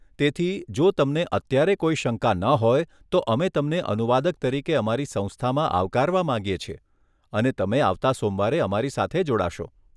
તેથી, જો તમને અત્યારે કોઈ શંકા ન હોય, તો અમે તમને અનુવાદક તરીકે અમારી સંસ્થામાં આવકારવા માંગીએ છીએ અને તમે આવતા સોમવારે અમારી સાથે જોડાશો.